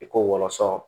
I ko wɔlɔsɔ